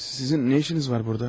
Sizin nə işiniz var burda?